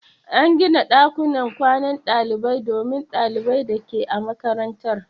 An gina ɗakunan kwanan dalibai domin ɗalibai da ke a makarantar.